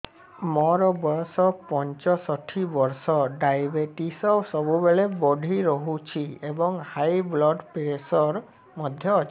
ମୋର ବୟସ ପଞ୍ଚଷଠି ବର୍ଷ ଡାଏବେଟିସ ସବୁବେଳେ ବଢି ରହୁଛି ଏବଂ ହାଇ ବ୍ଲଡ଼ ପ୍ରେସର ମଧ୍ୟ ଅଛି